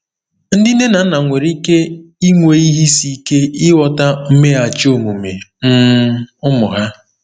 Ndị nne na nna nwere ike inwe ihe isi ike ịghọta mmeghachi omume um ụmụ ha.